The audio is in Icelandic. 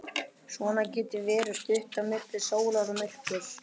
Svona getur verið stutt á milli sólar og myrkurs.